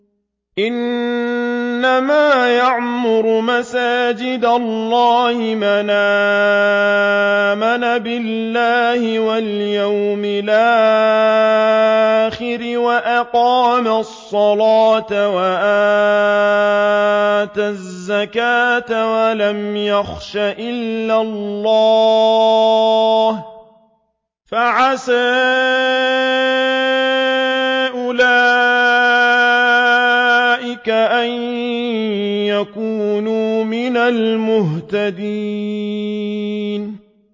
إِنَّمَا يَعْمُرُ مَسَاجِدَ اللَّهِ مَنْ آمَنَ بِاللَّهِ وَالْيَوْمِ الْآخِرِ وَأَقَامَ الصَّلَاةَ وَآتَى الزَّكَاةَ وَلَمْ يَخْشَ إِلَّا اللَّهَ ۖ فَعَسَىٰ أُولَٰئِكَ أَن يَكُونُوا مِنَ الْمُهْتَدِينَ